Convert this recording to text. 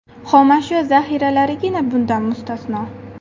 Xomashyo zaxiralarigina bundan mustasno.